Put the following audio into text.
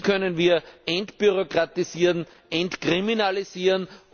Wie können wir entbürokratisieren, entkriminalisieren?